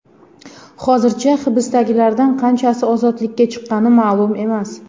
Hozircha hibsdagilardan qanchasi ozodlikka chiqqani ma’lum emas.